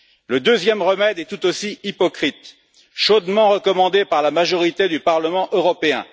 Le deuxième remède est tout aussi hypocrite, chaudement recommandé par la majorité du Parlement européen.